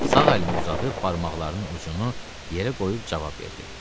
Sağ əlini uzadıb barmaqlarının ucunu yerə qoyub cavab verdi.